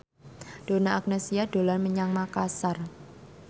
Donna Agnesia dolan menyang Makasar